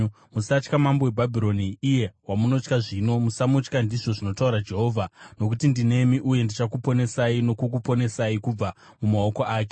Musatya mambo weBhabhironi, iye wamunotya zvino. Musamutya, ndizvo zvinotaura Jehovha, nokuti ndinemi uye ndichakuponesai nokukuponesai kubva mumaoko ake.